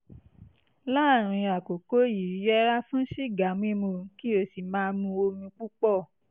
láàárín àkókò yìí yẹra fún sìgá mímu kí o sì máa mu omi púpọ̀